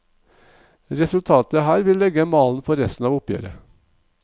Resultatet her vil legge malen for resten av oppgjøret.